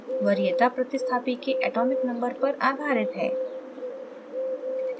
वरीयता प्रतिस्थापी के atomic number पर आधारित है